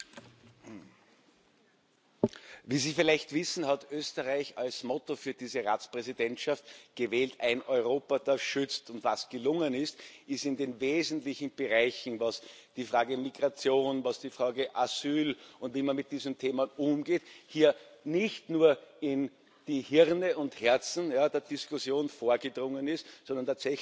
Wie Sie vielleicht wissen, hat Österreich als Motto für diese Ratspräsidentschaft Ein Europa, das schützt gewählt. Und was gelungen ist, ist, dass die wesentlichen Bereiche was die Frage Migration, was die Frage Asyl und wie man mit diesem Thema umgeht, betrifft hier nicht nur in die Hirne und Herzen der Diskussion vorgedrungen sind, sondern tatsächlich auch hier die Weichenstellungen vorgenommen wurden.